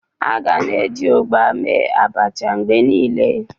A ga na-eji ụgba mee Abacha mgbe niile.